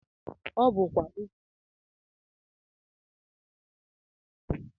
Ọ bụkwa okwu ọnụ a ị ga- eji gosi na ị hụrụ nwunye gị n'anya